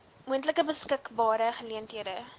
moontlik beskikbare geleenthede